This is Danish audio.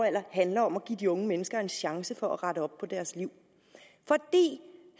handler om at give de unge mennesker en chance for at rette op på deres liv